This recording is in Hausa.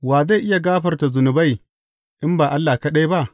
Wa zai iya gafarta zunubai, in ba Allah kaɗai ba?